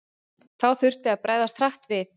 Þá þurfti að bregðast hratt við.